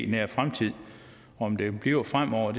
nær fremtid om det bliver fremover